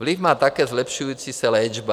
Vliv má také zlepšující se léčba.